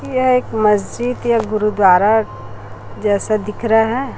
यह एक मस्जिद या गुरुद्वारा जैसा दिख रहा है।